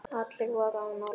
Allir voru á nálum.